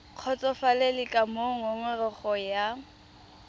kgotsofalele ka moo ngongorego ya